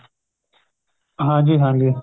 ਹਾਂਜੀ ਹਾਂਜੀ